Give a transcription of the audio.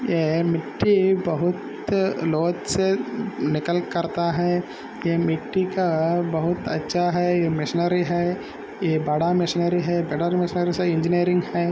यह मिट्टी बहुत बहुत से निकाल करता है यह मिट्टी का बहुत अच्छा मिशनरी हैयह बड़ा मशीनरी है बड़ा मशीनरी इंजीनियरिंग है।